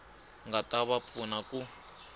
nga ta va pfuna ku